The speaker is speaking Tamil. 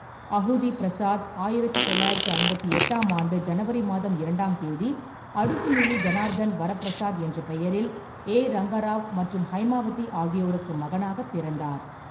அஹுதி பிரசாத் ஆயிரத்து தொள்ளாயிரத்தி ஐம்பத்தி எட்டாம் ஆண்டு ஜனவரி மாதம் இரண்டாம் தேதி அடுசுமிலி ஜனார்தன் வர பிரசாத் என்ற பெயரில் ஏ. ரங்கராவ் மற்றும் ஹைமாவதி ஆகியோருக்கு மகனாகப் பிறந்தார்.